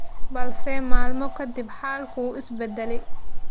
balse maalmo ka dib xaalku wuu is bedelay.